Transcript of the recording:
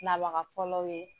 Nabaga fɔlɔ ye